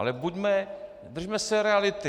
Ale buďme - držme se reality.